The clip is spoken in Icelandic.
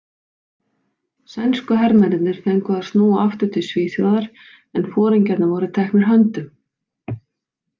Sænsku hermennirnir fengu að snúa aftur til Svíþjóðar en foringjarnir voru teknir höndum.